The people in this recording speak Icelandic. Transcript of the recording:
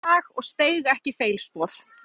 Hann stóð frábærlega í dag og steig ekki feilspor.